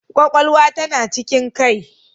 Kwakwalwa tana cikin kai